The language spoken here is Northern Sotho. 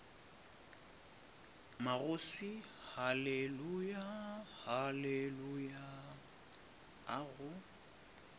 magoswi haleluya haleluya a go